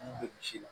An bɛ misi la